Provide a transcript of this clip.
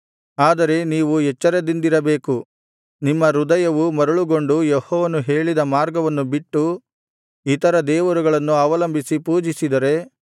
ಆದರೆ ನೀವು ಎಚ್ಚರದಿಂದಿರಬೇಕು ನಿಮ್ಮ ಹೃದಯವು ಮರುಳುಗೊಂಡು ಯೆಹೋವನು ಹೇಳಿದ ಮಾರ್ಗವನ್ನು ಬಿಟ್ಟು ಇತರ ದೇವರುಗಳನ್ನು ಅವಲಂಬಿಸಿ ಪೂಜಿಸಿದರೆ